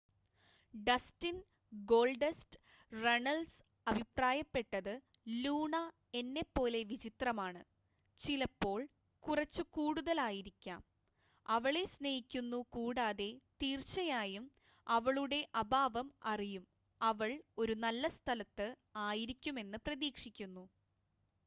"Dustin "Goldust" Runnels അഭിപ്രായപ്പെട്ടത് "Luna എന്നെ പോലെ വിചിത്രമാണ്...ചിലപ്പോൾ കുറച്ച് കൂടുതൽ ആയിരിക്കാം...അവളെ സ്നേഹിക്കുന്നു കൂടാതെ തീർച്ചയായും അവളുടെ അഭാവം അറിയും...അവൾ ഒരു നല്ല സ്ഥലത്ത് ആയിരിക്കുമെന്ന് പ്രതീക്ഷിക്കുന്നു.""